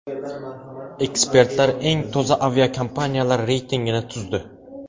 Ekspertlar eng toza aviakompaniyalar reytingini tuzdi.